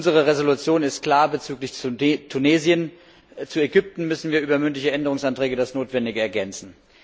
Unsere Entschließung ist klar bezüglich Tunesien, zu Ägypten müssen wir über mündliche Änderungsanträge das Notwendige ergänzen.